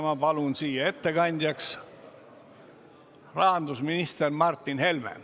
Ma palun siia ettekandjaks rahandusminister Martin Helme.